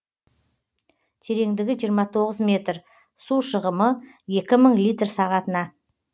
тереңдігі жиырма тоғыз метр су шығымы екі мың литр сағатына